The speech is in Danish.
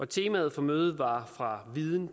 temaet på mødet var fra viden